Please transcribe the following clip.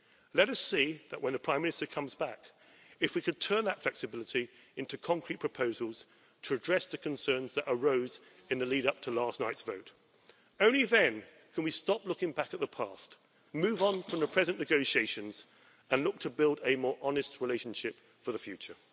Let us see, when the Prime Minister comes back, if we can turn that flexibility into concrete proposals to address the concerns that arose in the lead up to last night's vote. Only then can we stop looking back at the past, move on from the present negotiations and look to build a more honest relationship for the future.